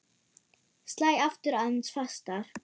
Slæ aftur aðeins fastar.